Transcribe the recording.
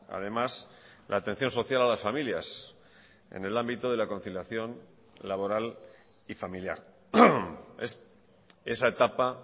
además la atención social a las familias en el ámbito de la conciliación laboral y familiar es esa etapa